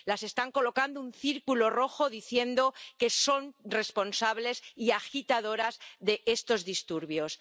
Les están colocando un círculo rojo diciendo que son responsables y agitadoras de estos disturbios.